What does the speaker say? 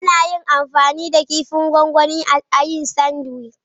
Ana iya amfani da kifin gwangwani a yin sandwich.